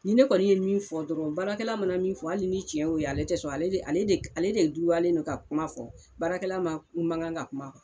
Nin ne kɔni ye min fɔ dɔrɔn baarakɛla mana min fɔ ale ni cɛn y'o ye ale tɛ sɔn ale de ale de ale de duralen don ka kuma fɔ baarakɛla ma mangan ka kuma